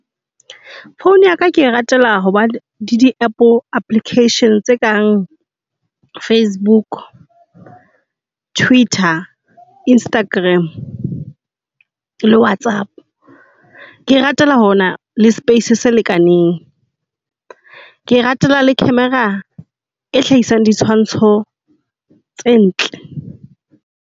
Phone ya ka ke e ratela hoba le di app applications tse kang Facebook, Twitter, Instagram le Whatsapp. Ke e ratela ho na le space se lekaneng. Ke e ratela le camera ee hlahisang ditshwantsho tse ntle.